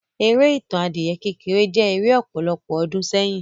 Eré Ìtàn adìyẹ kékeré jẹ́ eré ọ̀pọ̀lọpọ̀ ọdún sẹ́yìn.